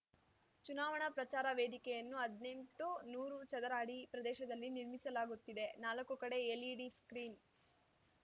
ಚುನಾವಣಾ ಪ್ರಚಾರ ವೇದಿಕೆಯನ್ನು ಹದ್ನೆಂಟುನೂರು ಚದರ ಅಡಿ ಪ್ರದೇಶದಲ್ಲಿ ನಿರ್ಮಿಸಲಾಗುತ್ತಿದೆ ನಾಲಕ್ಕು ಕಡೆ ಎಲ್‌ಇಡಿ ಸ್ಕ್ರೀನ್‌